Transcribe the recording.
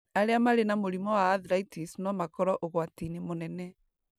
Arĩa marĩ na mũrimũ wa arthritis no makorũo ũgwati-inĩ mũnene